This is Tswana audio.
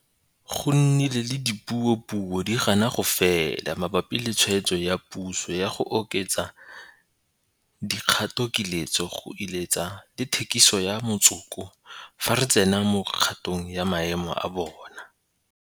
Go nnile le dipuopuo di gana go fela mabapi le tshwetso ya puso ya go oketsa dikgatokiletso go iletsa le thekiso ya motsoko fa re tsena mo kgatong ya maemo a bone.